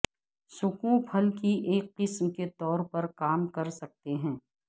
سکوں پھل کی ایک قسم کے طور پر کام کر سکتے ہیں